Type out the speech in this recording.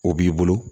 O b'i bolo